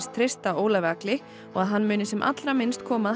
treysta Ólafi Agli og að hann muni sem allra minnst koma að